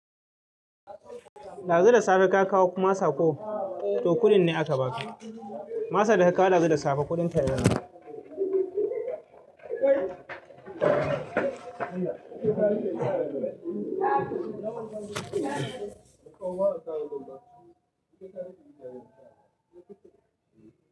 Ɗazu da safe ka kawo masako, to kuɗin ne aka baka. Masa da ka kawo ɗazu da safe kuɗinta yana nan.